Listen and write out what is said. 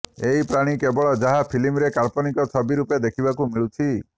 ଏହି ପ୍ରାଣୀ କେବଳ ଯାହା ଫିଲ୍ମରେ କାଳ୍ପନିକ ଛବି ରୂପେ ଦେଖିବାକୁ ମିଳୁଛି